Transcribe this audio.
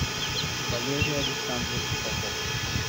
валерий александрович попов